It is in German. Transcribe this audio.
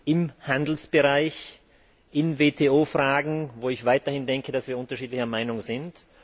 im Handelsbereich, in WTO Fragen, wo ich weiterhin denke, dass wir unterschiedlicher Meinung sind.